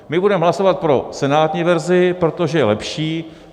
My budeme hlasovat pro senátní verzi, protože je lepší.